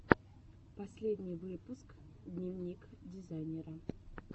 последний выпуск дневник дизайнера